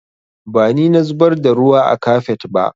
Ba ni na zubar da ruwa a kafet ba